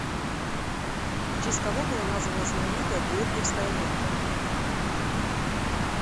в честь кого была названа знаменитая георгиевская лента